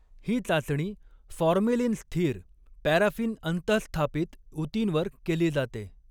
ही चाचणी फॉर्मेलिन स्थिर, पॅराफिन अंतहस्थापित ऊतींवर केली जाते.